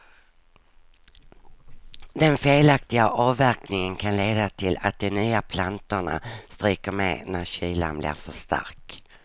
Den felaktiga avverkningen kan leda till att de nya plantorna stryker med när kylan blir för stark.